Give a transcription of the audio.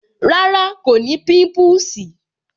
Rárá, kò ní pimpusi